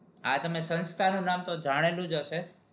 આપની સંસ્થા નું નામ તો જાણેલુ જ હસે